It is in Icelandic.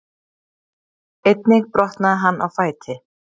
Einnig brotnaði hann á fæti